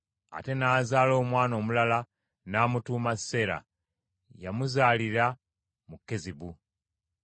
Ate n’azaala omwana omulala n’amutuuma Seera. Yamuzaalira mu Kezibu.